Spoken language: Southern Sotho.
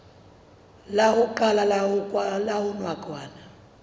la ho qala la nakwana